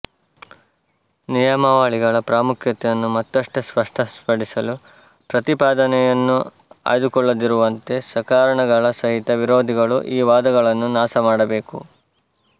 ನಿಯಮಾವಳಿಗಳ ಪ್ರಾಮುಖ್ಯತೆಯನ್ನು ಮತ್ತಷ್ಟು ಸ್ಪಷ್ಟಪಡಿಸಲು ಪ್ರತಿಪಾದನೆಯನ್ನು ಆಯ್ದುಕೊಳ್ಳದಿರುವಂತೆ ಸಕಾರಣಗಳ ಸಹಿತ ವಿರೋಧಿಗಳು ಈ ವಾದಗಳನ್ನು ನಾಶಮಾಡಬೇಕು